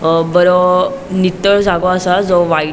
अ बरो नितळ जागो आसा जो वाइ --